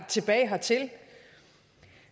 tilbage hertil